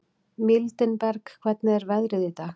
Mildinberg, hvernig er veðrið í dag?